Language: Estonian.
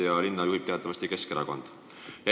Ja Tallinna linna juhib teatavasti Keskerakond.